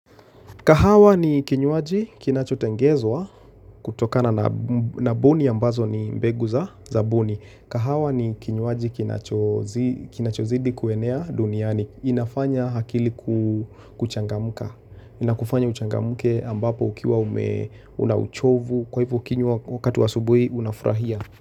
Kahawa ni kinywaji kinachotengezwa kutokana na boni ambazo ni mbegu za boni. Kahawa ni kinywaji kinachoo zi kinachozidi kuenea duniani. Inafanya hakili kuchangamuka. Ina kufanya uchangamke ambapo ukiwa ume una uchovu. Kwa hivyo kinywa wakati wa asubui unafurahia.